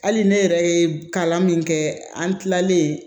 Hali ne yɛrɛ ye kalan min kɛ an tilalen